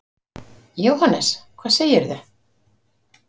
Jóhannes: Hvað segirðu?